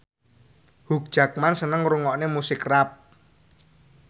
Hugh Jackman seneng ngrungokne musik rap